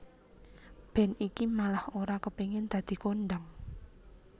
Band iki malah ora kepengin dadi kondhang